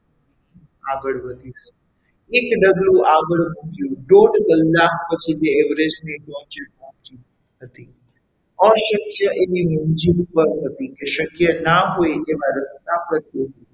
આગળ વધીશ એક ડગલું આગળ મૂક્યું દોડ કલ્લાક કલાક પછી તે Everest ની ટોચે પહોંચી હતી અશક્ય એવી મંઝિલ પર હતી શક્ય ન હોય તેવા રસ્તા પરથી,